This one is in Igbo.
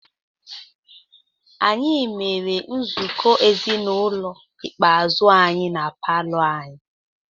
Anyị mere nzukọ ezinụlọ ikpeazụ anyị na palọ anyị.